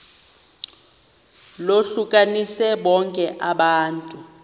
lohlukanise bonke abantu